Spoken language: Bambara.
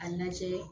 A lajɛ